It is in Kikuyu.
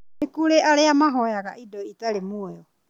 Kũrĩ arĩa mahoyaga indo itarĩ muoyo